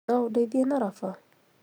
Noũndeithia na raba?